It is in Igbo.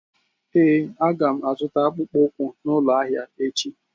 Ee a ga m azụta akpụkpọ ụkwụ n'ụlọ ahịa echi.